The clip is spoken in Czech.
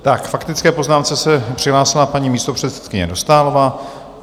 K faktické poznámce se přihlásila paní místopředsedkyně Dostálová.